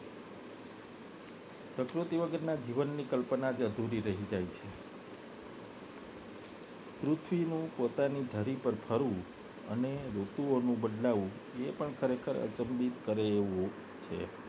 પ્રકૃતિ વગરના જીવનની કલ્પના અધુરી રહી જાય છે પૃથ્વી નું પોતાની ધરી પર ફરવું અને ઋતુઓ નું બદલાવવું એ પણ ખરેખર અચંબિત કરે એવું છે